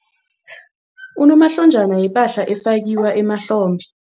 Unomahlonjana yipahla efakiwa emahlombe.